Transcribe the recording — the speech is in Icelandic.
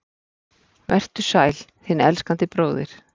Vertu sæl, þinn elskandi bróðir